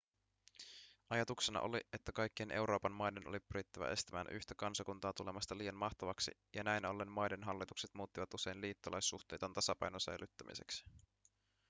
ajatuksena oli että kaikkien euroopan maiden oli pyrittävä estämään yhtä kansakuntaa tulemasta liian mahtavaksi ja näin ollen maiden hallitukset muuttivat usein liittolaissuhteitaan tasapainon säilyttämiseksi